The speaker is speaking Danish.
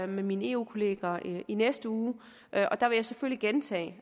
med mine eu kolleger i næste uge og der vil jeg selvfølgelig gentage